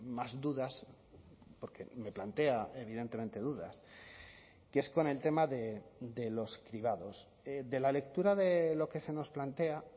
más dudas porque me plantea evidentemente dudas que es con el tema de los cribados de la lectura de lo que se nos plantea